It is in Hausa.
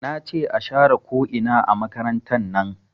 Nace a share ko ina a makarantar nan